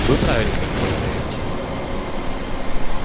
вы правильно предполагаете